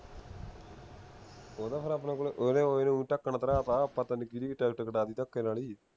ਉਹ ਨਾ ਫੇਰ ਆਪਣੇ ਕੋਲੇ ਇਹਨੇ ਉਹ ਇਹਨੂੰ ਢੱਕਣ ਪਤਾ ਨਹੀਂ ਕਿਹੜੀ ਟਿਕਟ ਕਟਾਤੀ ਧੱਕੇ ਨਾਲ ਹੀ